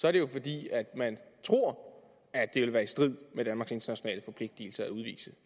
er det jo fordi man tror at det vil være i strid med danmarks internationale forpligtelser at udvise